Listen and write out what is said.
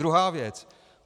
Druhá věc.